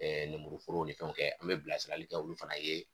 nemuruforow ni fɛnw kɛ an bɛ bilasirali kɛ olu fana ye